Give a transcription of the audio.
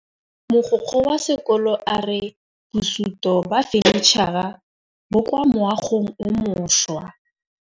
Mogokgo wa sekolo a re bosutô ba fanitšhara bo kwa moagong o mošwa.